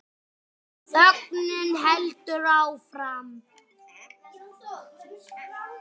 Þögnin heldur áfram.